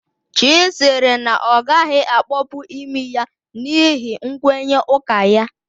Chy sịrị na ọ gaghị akpọpu imi ya n'ihi nkwenye ụka ya